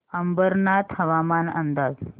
अंबरनाथ हवामान अंदाज